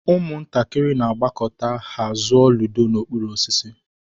Ụmụntakịrị na-agbakọta ka ha zụọ ludo n'okpuru osisi.